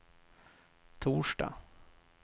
torsdag